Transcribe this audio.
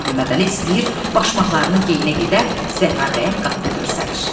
Mirzə Məhəmmədəli istəyir başmaqlarını geyinə gedə, Zəhra bəyəm qapıda görsənir.